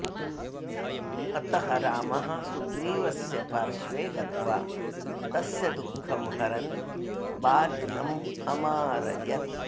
अतः रामः सुग्रीवस्य पार्श्वे गत्वा तस्य दुःखं हरन् बालिनम् अमारयत्